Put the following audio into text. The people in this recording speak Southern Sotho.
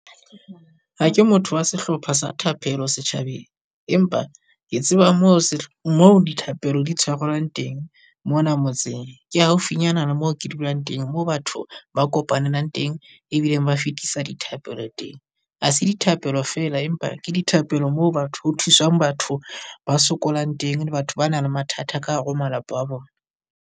Ha ke motho wa sehlopha sa thapelo setjhabeng, empa ke tseba moo moo dithapelo di tshwarelwang teng mona motseng, ke haufinyana le mo ke dulang teng. Moo batho ba kopanelang teng ebile ba fetisa dithapelo teng. Ha se dithapelo feela, empa ke dithapelo moo batho ho thusang batho ba sokolang teng, le batho ba nang le mathata ka hare ho malapa a bona.